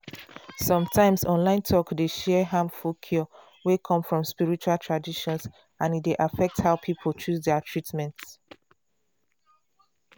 some times online talk dey share harmful cure wey come from spiritual traditions and e dey affect how people choose their treatment.